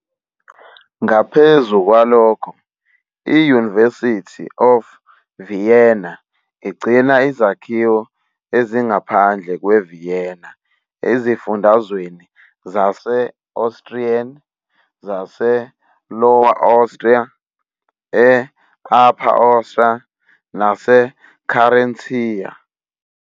Ngaphezu kwalokho, i-University of Vienna igcina izakhiwo ezingaphandle kweVienna ezifundazweni zase-Austrian zase-Lower Austria, E-Upper Austria, naseCarinthia.